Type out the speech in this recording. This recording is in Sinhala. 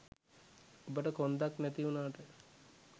ඔබට කොන්දක් නැති උනාට